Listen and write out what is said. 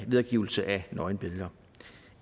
videregivelse af nøgenbilleder